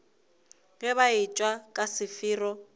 ge ba etšwa ka sefero